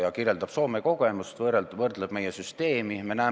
Ta kirjeldab Soome kogemust, võrdleb meie süsteemi nende omaga.